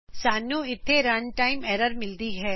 ਸਾਨੂੰ ਇਥੇ runtime error ਮਿਲਦੀ ਹੈ